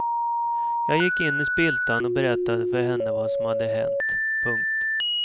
Jag gick in i spiltan och berättade för henne vad som hade hänt. punkt